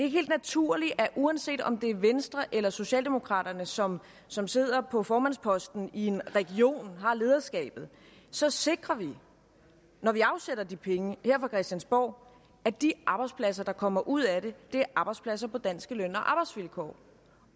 helt naturligt at uanset om det er venstre eller socialdemokraterne som som sidder på formandsposten i en region og har lederskabet så sikrer vi når vi afsætter de penge her fra christiansborg at de arbejdspladser der kommer ud af det er arbejdspladser på danske løn og arbejdsvilkår